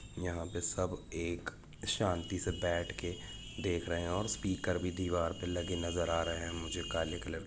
यहाँ पे सब एक शांति से बैठके देख रहे हैऔर स्पीकर भी दीवार पे लगे नजर आ रहे हैमुझे काले कलर के--